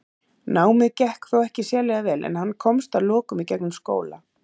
Námið gekk þó ekki sérlega vel en hann komst að lokum í gegnum skóla.